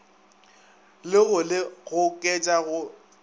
le go le goketša go